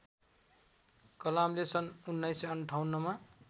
कलामले सन् १९५८ मा